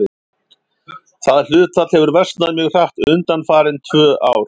Það hlutfall hefur versnað mjög hratt undanfarin tvö ár.